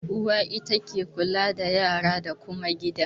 Uwa ita ke kula da yara da kuma gida.